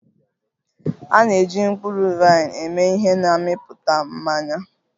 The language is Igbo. A na-eji mkpụrụ vaịn eme ihe na mmepụta mmanya